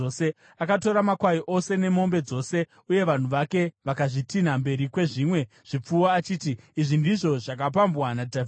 Akatora makwai ose nemombe dzose, uye vanhu vake vakazvitinha mberi kwezvimwe zvipfuwo, achiti, “Izvi ndizvo zvakapambwa naDhavhidhi.”